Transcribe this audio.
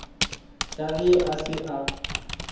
ka ge a se a